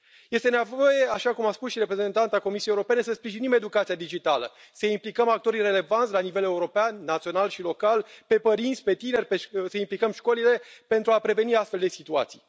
Este nevoie, așa cum a spus și reprezentanta Comisiei Europene, să sprijinim educația digitală, să implicăm actorii relevanți la nivel european, național și local, pe părinți, pe tineri, să implicăm școlile, pentru a preveni astfel de situații.